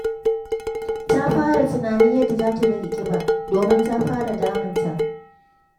Ta fara tunanin yadda za ta rage ƙiba, domin ta fara damun ta.